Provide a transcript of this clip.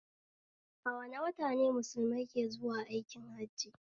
A wane wata ne mulusmai ke zuwa aikin hajji?